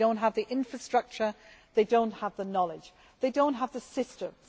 They do not have the infrastructure, they do not have the knowledge, they do not have the systems.